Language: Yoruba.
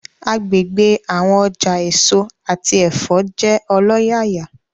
Agbegbe awọn ọja eso ati ẹfọ jẹ ọlọyaya